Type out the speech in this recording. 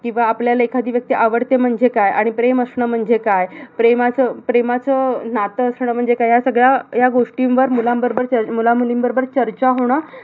किंवा आपल्याला एखादी व्यक्ती आवडते म्हणजे काय? किंवा प्रेम असणं म्हणजे काय? प्रेमाचं प्रेमाचं नातं असणं म्हणजे काय? ह्या सगळ्या गोष्टींवर मुलां बरोबर मुलां-मुलीं बरोबर चर्चा होणं